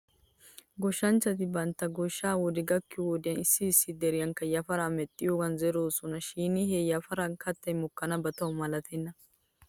Goshshanchchati bantta goshsha wode gakkiyoo wodiyan issi issi deriyankka yafaraa medhdhidoogan zeroosona shin he yafaran kattay mokkanaba taw malatenna .